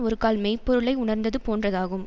ஒருகால் மெய் பொருளை உணர்ந்தது போன்றதாகும்